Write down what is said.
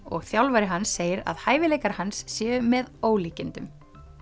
og þjálfari hans segir að hæfileikar hans séu með ólíkindum